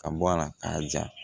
Ka bɔ a la k'a ja